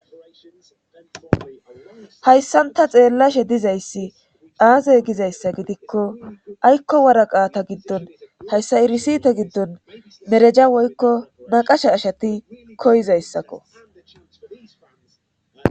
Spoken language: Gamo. Hayssanta xeellashe dizayssi aaze gizayssa gidikko aykko waraqaata giddon hayssa irisite giddon mereja woykko naqasha ashati koyizayssakko.